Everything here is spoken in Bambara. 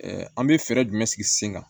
an bɛ fɛɛrɛ jumɛn sigi sen kan